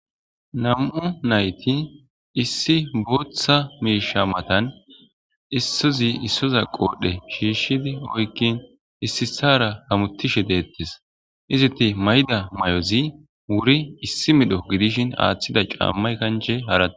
Nam'u nayti issi booththa miisha matan issozi issoza qoodhe shiishshidi oykkin issisara hamutishe deettes iziti mayda may'ozi wuri issi midho gidishin aaththida caammay kanje haarae.